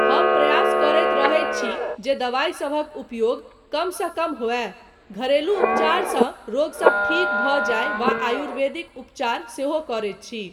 हम प्रयास करैत रहैत छी जे दवाइ सभक उपयोग कमसँ कम होअय, घरेलू उपचारसँ रोगसब ठीक भऽ जाय वा आयुर्वेदिक उपचार सेहो करैत छी।